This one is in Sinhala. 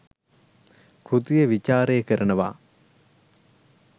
කෘතිය විචාරය කරනවා